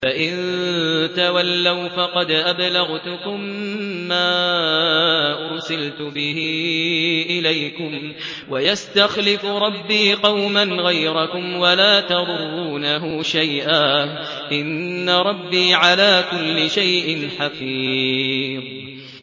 فَإِن تَوَلَّوْا فَقَدْ أَبْلَغْتُكُم مَّا أُرْسِلْتُ بِهِ إِلَيْكُمْ ۚ وَيَسْتَخْلِفُ رَبِّي قَوْمًا غَيْرَكُمْ وَلَا تَضُرُّونَهُ شَيْئًا ۚ إِنَّ رَبِّي عَلَىٰ كُلِّ شَيْءٍ حَفِيظٌ